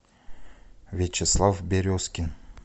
вячеслав березкин